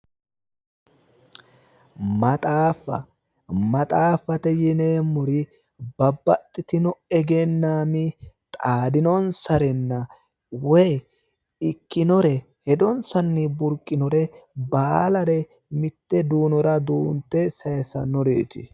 Maxaaffa maxaafaho yineemori babbaxitino egennaami xaadinonisarenna woyi ikkinore Hedonisanni buriqinore baalare mitte duunora duunite sayisannoreeti